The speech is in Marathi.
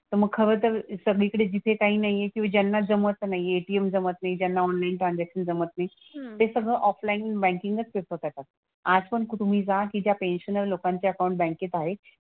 तर मग हवं तर सगळीकडे जिथे काही नाही आहे किंवा ज्यांना जमत नाही आहे ATM जमत नाही, ज्यांना ऑनलाईन ट्रांझॅक्शन जमत नाही ते सगळं ऑफलाईन बँकिंगच प्रेफर करतात. आजपण तुम्ही जा की ज्या पेन्शनर लोकांचे अकाउंट बँकेत आहेत.